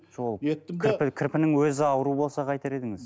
сол кірпі кірпінің өзі ауру болса қайтер едіңіз